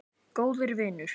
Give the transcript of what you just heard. Góður vinur.